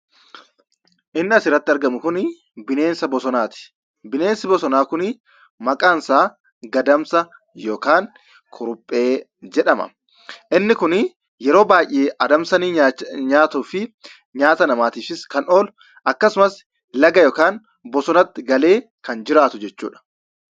Inni asirratti argamu kunii bineensa bosonaati. Bineensi bosonaa kunii maqaansaa gadamsa yookaan kuruphee jedhama. Inni kunii yeroo baay'ee adamsanii nyaatuu fi nyaata namaatiifis kan oolu akkasumas laga yookaan bosonatti galee kan jiraatu jechuudha.